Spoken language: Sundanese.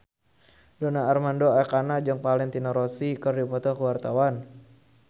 Donar Armando Ekana jeung Valentino Rossi keur dipoto ku wartawan